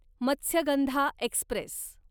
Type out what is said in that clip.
Matsyagandha Express